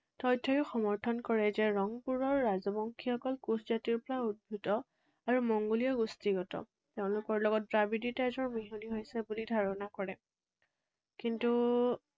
তথ্যও সমৰ্থন কৰে যে ৰংপুৰৰ ৰাজবংশীসকল কোচ জাতিৰ পৰা উদ্ভিত আৰু মংগোলীয় গোষ্ঠীগত। তেওঁলোকৰ লগত দ্ৰাবিড়ীয় তেজৰ মিহলি হৈছে বুলি ধাৰণা কৰে। কিন্তু